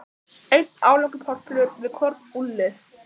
Einn aflangur pollur við hvorn úlnlið.